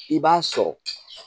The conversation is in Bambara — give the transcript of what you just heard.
I b'a sɔrɔ